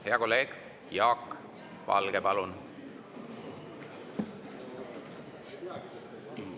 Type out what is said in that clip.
Hea kolleeg Jaak Valge, palun!